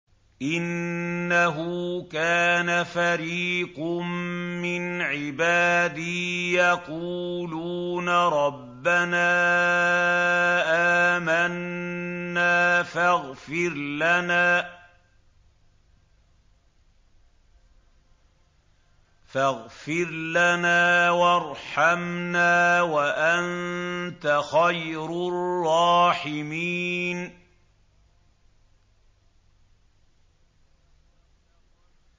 إِنَّهُ كَانَ فَرِيقٌ مِّنْ عِبَادِي يَقُولُونَ رَبَّنَا آمَنَّا فَاغْفِرْ لَنَا وَارْحَمْنَا وَأَنتَ خَيْرُ الرَّاحِمِينَ